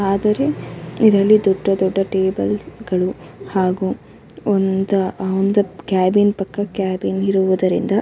ಆದರೆ ಇದರಲ್ಲಿ ದೊಡ್ದ ದೊಡ್ದ ಟೇಬಲ್ಲ್ ಗಳು ಹಾಗು ಒಂದು ಒಂದ ಕೇಬಿನ್ ಪಕ್ಕ ಕೇಬಿನ್ ಇರುವುದರಿಂದ--